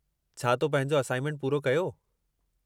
छा तो पंहिंजो असाइनमेंट पूरो कयो?